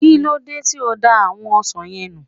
Kílódé tí o da àwọn ọsàn yẹn nù?